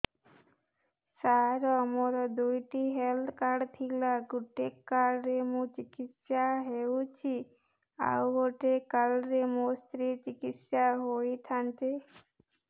ସାର ମୋର ଦୁଇଟି health card ଥିଲା ଗୋଟେ କାର୍ଡ ରେ ମୁଁ ଚିକିତ୍ସା ହେଉଛି ଆଉ ଗୋଟେ କାର୍ଡ ରେ ମୋ ସ୍ତ୍ରୀ ଚିକିତ୍ସା ହୋଇଥାନ୍ତେ